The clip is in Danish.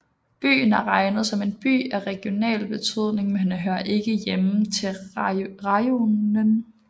Byen er regnet som en By af regional betydning men hører ikke til rajonen